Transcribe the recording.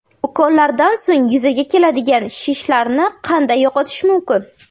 Ukollardan so‘ng yuzaga keladigan shishlarni qanday yo‘qotish mumkin?.